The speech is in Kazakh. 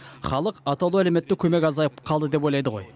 халық атаулы әлеуметтік көмек азайып қалды деп ойлайды ғой